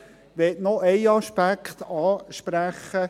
Ich möchte noch einen Aspekt ansprechen.